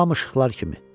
Hamı şıxlar kimi.